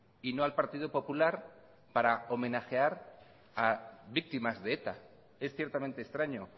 y no al partido popular para homenajear a víctimas de eta es ciertamente extraño